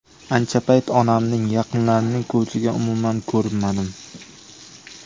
Ancha payt onamning, yaqinlarimning ko‘ziga umuman ko‘rinmadim.